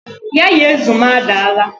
Yaya azụ m adaala